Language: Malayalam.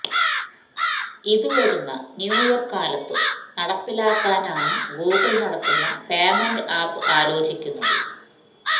ഇത് വരുന്ന ന്യൂ ഇയര് കാലത്തും നടപ്പിലാക്കാനാണ് ഗൂഗിള് നടത്തുന്ന പേമെന്റ് ആപ്പ് ആലോചിക്കുന്നത്